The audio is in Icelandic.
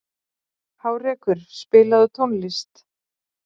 Hárekur, spilaðu tónlist.